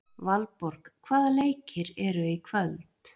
Valborg, hvaða leikir eru í kvöld?